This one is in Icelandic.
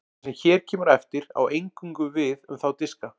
það sem hér kemur á eftir á eingöngu við um þá diska